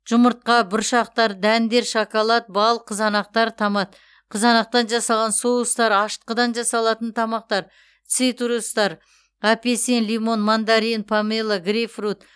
жұмыртқа бұршақтар дәндер шоколад бал қызанақтар томат қызанақтан жасалған соустар ашытқыдан жасалатын тамақтар цитрустар апельсин лимон мандарин помело грейпфрут